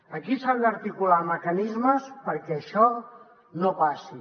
aquí s’han d’articular mecanismes perquè això no passi